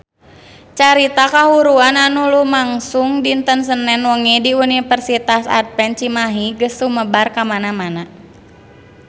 Carita kahuruan anu lumangsung dinten Senen wengi di Universitas Advent Cimahi geus sumebar kamana-mana